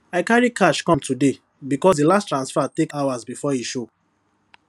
i carry cash come today because the the last transfer take hours before e show